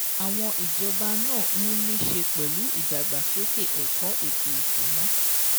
Àwọn ìjọba náà ń ní ṣe pé ìdàgbàsókè ẹ̀kọ́ ètò ìsúná